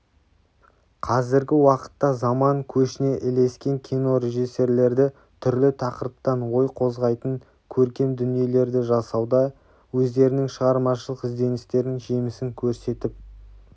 қазіргі уақытта заман көшіне ілескен кино режиссерлері түрлі тақырыптан ой қозғайтын көркем дүниелерді жасауда өздерінің шығармашылық ізденістерінің жемісін көрсетіп